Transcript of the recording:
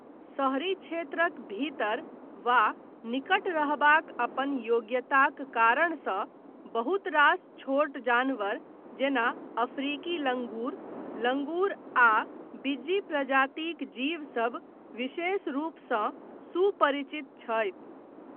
शहरी क्षेत्रक भीतर वा निकट रहबाक अपन योग्यताक कारणसँ बहुत रास छोट जानवर जेना अफ्रीकी लङ्गुर, लङ्गुर आ बिज्जी प्रजातिक जीव सभ विशेष रूपसँ सुपरिचित छै।